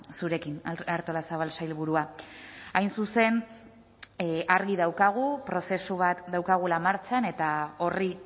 zurekin artolazabal sailburua hain zuzen argi daukagu prozesu bat daukagula martxan eta horri